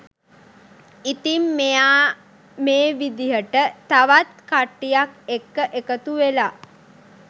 ඉතින් මෙයා මේ විදියට තවත් කට්ටියක් එක්ක එකතු වෙලා